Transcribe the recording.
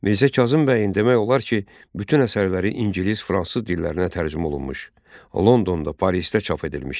Mirzə Kazım bəyin demək olar ki, bütün əsərləri ingilis, fransız dillərinə tərcümə olunmuş, Londonda, Parisdə çap edilmişdi.